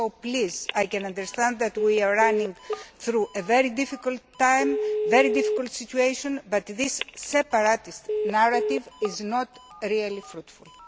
So, please, while I understand that we are going through a very difficult time, a very difficult situation, this separatist narrative is not really fruitful.